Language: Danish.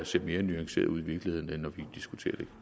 ser mere nuanceret ud i virkeligheden end når vi diskuterer det